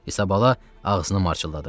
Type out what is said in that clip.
İsabala ağzını marçıldadırdı.